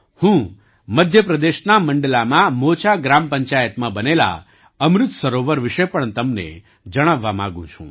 હું મધ્ય પ્રદેશના મંડલામાં મોચા ગ્રામ પંચાયતમાં બનેલા અમૃત સરોવર વિશે પણ તમને જણાવવા માગું છું